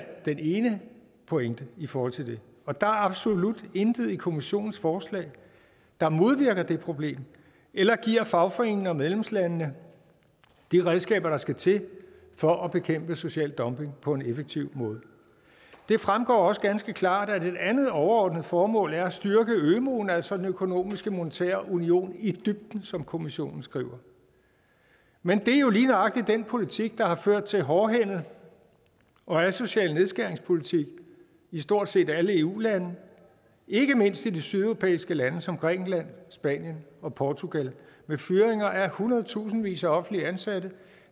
den ene pointe i forhold til det og der er absolut intet i kommissionens forslag der modvirker det problem eller giver fagforeningerne og medlemslandene de redskaber der skal til for at bekæmpe social dumping på en effektiv måde det fremgår også ganske klart at et andet overordnet formål er at styrke ømuen altså den økonomiske og monetære union i dybden som kommissionen skriver men det er jo lige nøjagtig den politik der har ført til en hårdhændet og asocial nedskæringspolitik i stort set alle eu lande ikke mindst i de sydeuropæiske lande som grækenland spanien og portugal med fyringer af hundredtusindvis af offentligt ansatte og